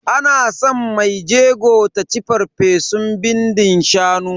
Ana san mai jego ta ci farfesun bindin shanu.